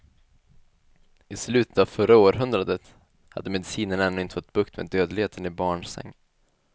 I slutet av förra århundradet hade medicinen ännu inte fått bukt med dödligheten i barnsäng.